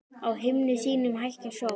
Á himni sínum hækkar sól.